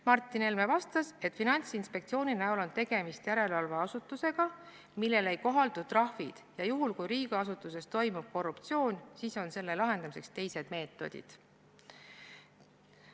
Martin Helme vastas, et Finantsinspektsioon on järelevalveasutus, millele ei kohaldu trahvid, ja juhul, kui riigiasutuses toimub korruptsioon, siis on selle lahendamiseks teised meetodid.